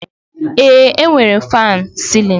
Eé, e nwere m faanụ sịlịnụ.